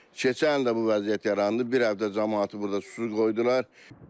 Keçən il də bu vəziyyət yarandı, bir həftə camaatı burda susuz qoydular.